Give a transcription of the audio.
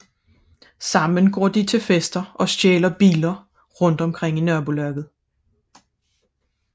Sammen går de til fester og stjæler biler rundt omkring i nabolaget